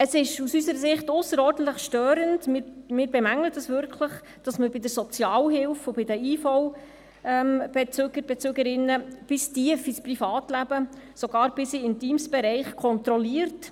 Es ist aus unserer Sicht ausserordentlich störend, wir bemängeln das wirklich, dass man bei der Sozialhilfe und bei den IV-Bezügern und IV-Bezügerinnen bis tief ins Privatleben, sogar bis in einen intimen Bereich hinein kontrolliert.